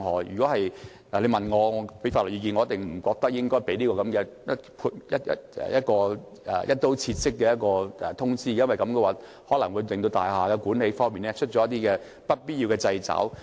如果你問我法律意見，我覺得不應該發出這個"一刀切"式的確認書，因為這可能會令大廈管理方面出現一些不必要的掣肘。